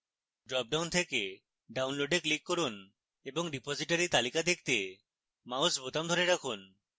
drop down থেকে download এ click from এবং repositories তালিকা দেখতে mouse বোতাম ধরে রাখুন